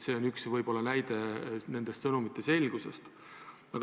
See on üks näide nende sõnumite segasusest.